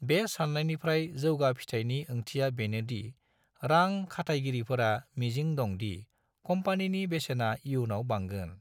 बे साननायनिफ्राय जौगा फिथाइनि ओंथिया बेनोदि रां खाथायगिरिफोरा मिजिं दं दि कम्पानिनि बेसेना इयुनाव बांगोन ।